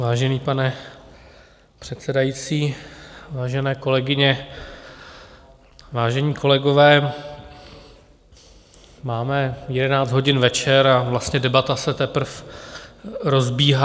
Vážený pane předsedající, vážené kolegyně, vážení kolegové, máme jedenáct hodin večer a vlastně debata se teprve rozbíhá.